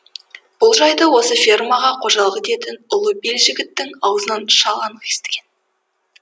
бұл жайды осы фермаға қожалық ететін ұлы белжігіттің аузынан шал анық естіген